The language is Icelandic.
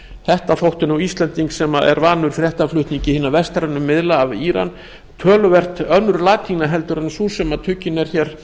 þetta þótti íslendingi sem er vanur fréttaflutningi hinna vestrænu miðla af íran töluvert önnur latína en sú sem tuggin er hér